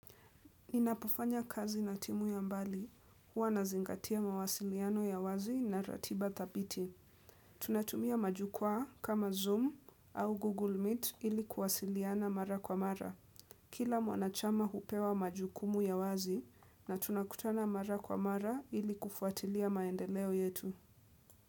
Ninapofanya kazi na timu ya mbali, huwa nazingatia mawasiliano ya wazi na ratiba dhabiti. Tunatumia majukwaa kama Zoom au Google Meet ili kuwasiliana mara kwa mara. Kila mwanachama hupewa majukumu ya wazi na tunakutana mara kwa mara ili kufuatilia maendeleo yetu.